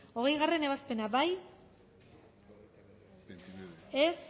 hogeigarrena ebazpena bozkatu dezakegu